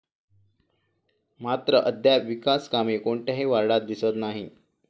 मात्र अद्याप विकास कामे कोणत्याही वार्डात दिसत नाहीत.